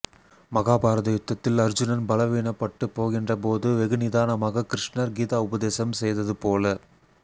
மகாபாரத யுத்தத்தில் அர்ச்சுனன் பலவீனப் பட்டுப் போகின்ற போது வெகு நிதானமாக கிருஸ்ணர் கீதா உபதேசம் செய்தது போல